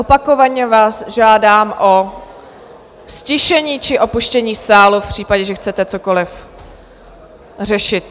Opakovaně vás žádám o ztišení či opuštění sálu v případě, že chcete cokoliv řešit.